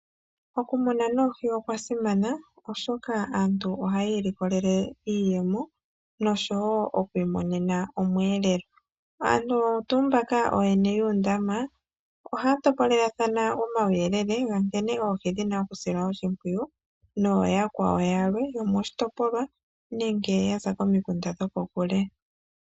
Okumuna oohi okwa simana, oshoka aantu ohayi imonene mo iiyemo noshowo okwiimonena omweelelo. Aantu oyo tuu mbaka ooyene yoondama, ohaya topolelathana omawuyelele ga nkene oohi dhi na okusilwa oshimpwiyu, noyakwawo yalwe yomoshitopolwa nenge yaza komikunda dhokokule.